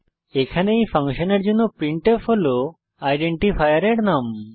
এখানে এই ফাংশনের জন্য প্রিন্টফ হল আইডেন্টিফায়ার এর নাম